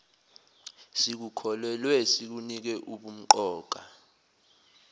sikukholelwe sikunike ubumqoka